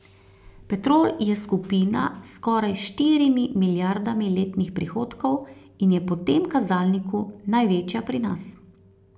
Petrol je skupina s skoraj štirimi milijardami letnih prihodkov in je po tem kazalniku največja pri nas.